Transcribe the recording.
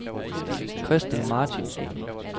Christel Martinsen